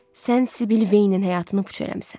Sən Sibil Veynin həyatını puç eləmisən.